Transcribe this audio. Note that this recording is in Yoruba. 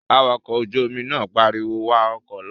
Awakọ̀ ojú-omi náà pariwo, "wa ọkọ̀ lọ"